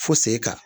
Fo sen kan